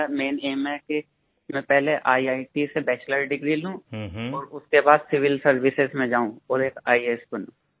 मेरा main aim है कि मैं पहले ईआईटी से पहले बैचलर डिग्री लूं और उसके बाद सिविल सर्विसेज में जाऊँ और एक आईएएस बनूँ